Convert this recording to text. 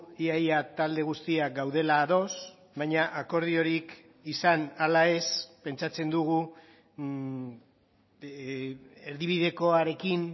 ia ia talde guztiak gaudela ados baina akordiorik izan ala ez pentsatzen dugu erdibidekoarekin